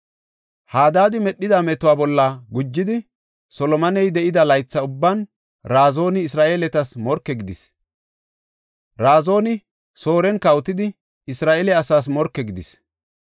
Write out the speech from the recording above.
Hadaadi medhida metuwa bolla gujidi, Solomoney de7ida laytha ubban Razooni Isra7eeletas morke gidis. Razooni Sooren kawotidi Isra7eele asaas morke gidis.